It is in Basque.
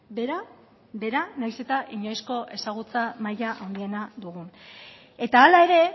behera behera nahiz eta inoizko ezagutza maila handiena dugun eta hala ere